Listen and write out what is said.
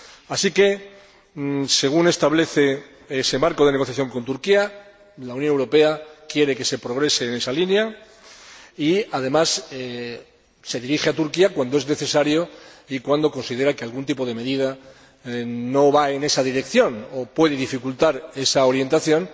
Así que, según establece ese marco de negociación con Turquía, la Unión Europea quiere que se progrese en esa línea y, además, se dirige a Turquía cuando es necesario y cuando considera que algún tipo de medida no va en esa dirección o puede dificultar esa orientación.